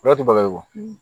Ala tɛ baga ye o